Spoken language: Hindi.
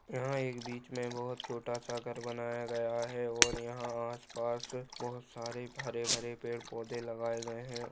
यहा एक बीच मे बहुत छोटासा घर बनाया गया है और यहा आसपास बहुत सारे हरे-बरे पेड़-पौधे लगाया गए है।